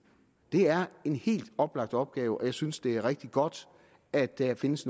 det er en helt oplagt opgave og jeg synes det er rigtig godt at der findes